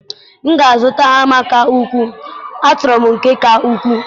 m ga-azụta hama ka ukwuu, achọrọ m ihe ka ukwuu.